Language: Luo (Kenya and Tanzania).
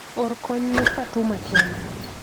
or konya ne Fatuma kende